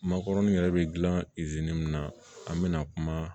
Makɔrɔni yɛrɛ bɛ gilan min na an bɛna kuma